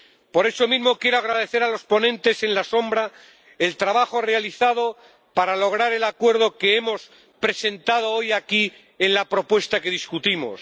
Por eso mismo, quiero agradecer a los ponentes alternativos el trabajo realizado para lograr el acuerdo que hemos presentado hoy aquí en la propuesta que debatimos.